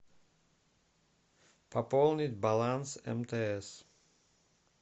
пополнить баланс мтс